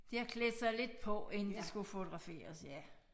De har klædt sig lidt på inden de skulle fotograferes ja